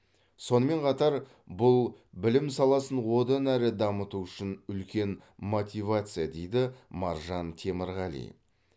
сонымен қатар бұл білім саласын одан әрі дамыту үшін үлкен мотивация дейді маржан темірғали